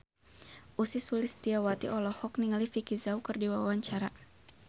Ussy Sulistyawati olohok ningali Vicki Zao keur diwawancara